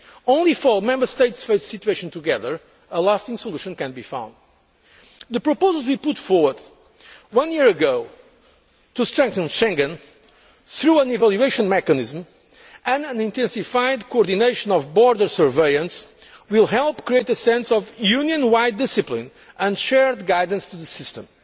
alone. Only if Member States face the situation together, can a lasting solution be found. The proposals we put forward one year ago to strengthen Schengen, through an evaluation mechanism and intensified coordination of border surveillance, will help create a sense of Union wide discipline and shared guidance in the